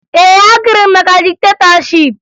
Ee, agụrụ m maka diktetọship